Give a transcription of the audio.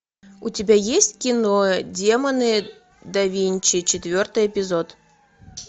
у тебя есть кино демоны да винчи четвертый эпизод